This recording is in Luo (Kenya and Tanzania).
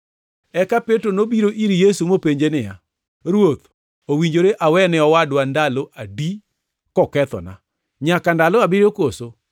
Eka Petro nobiro ir Yesu mopenje niya, “Ruoth, owinjore awe ne owadwa ndalo adi kokethona? Nyaka ndalo abiriyo koso?”